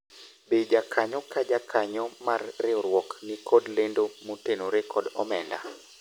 be jakanyo ka jakanyo mar riwruok nikod lendo motenore kod omenda ?